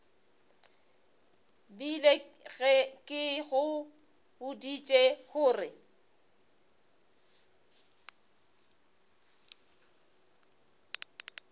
bile ke go boditše gore